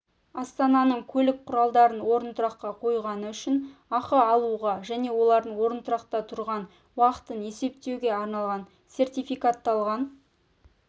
астананың көлік құралдарын орынтұраққа қойғаны үшін ақы алуға және олардың орынтұрақта тұрған уақытын есептеуге арналған сертификатталған